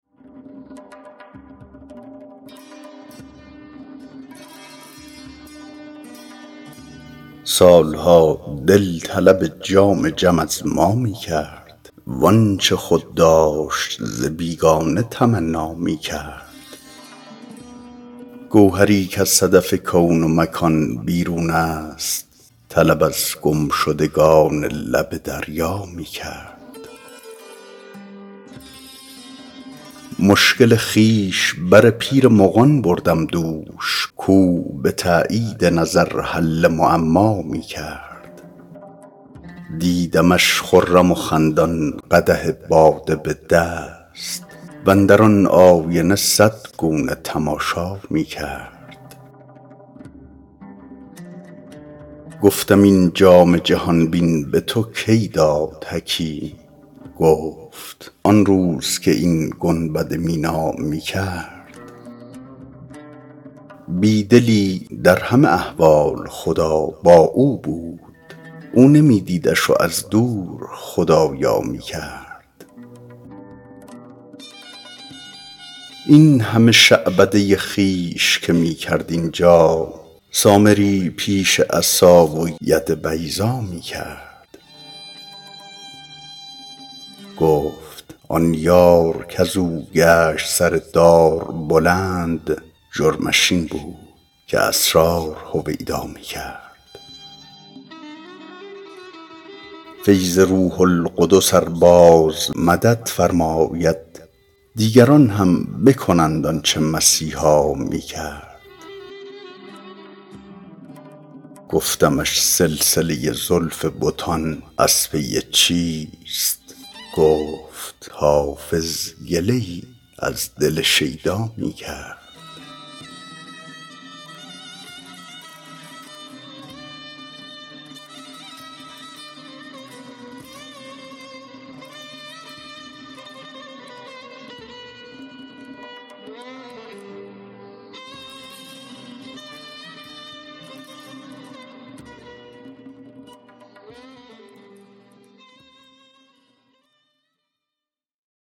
سال ها دل طلب جام جم از ما می کرد وآنچه خود داشت ز بیگانه تمنا می کرد گوهری کز صدف کون و مکان بیرون است طلب از گمشدگان لب دریا می کرد مشکل خویش بر پیر مغان بردم دوش کاو به تأیید نظر حل معما می کرد دیدمش خرم و خندان قدح باده به دست واندر آن آینه صد گونه تماشا می کرد گفتم این جام جهان بین به تو کی داد حکیم گفت آن روز که این گنبد مینا می کرد بی دلی در همه احوال خدا با او بود او نمی دیدش و از دور خدارا می کرد این همه شعبده خویش که می کرد اینجا سامری پیش عصا و ید بیضا می کرد گفت آن یار کز او گشت سر دار بلند جرمش این بود که اسرار هویدا می کرد فیض روح القدس ار باز مدد فرماید دیگران هم بکنند آن چه مسیحا می کرد گفتمش سلسله زلف بتان از پی چیست گفت حافظ گله ای از دل شیدا می کرد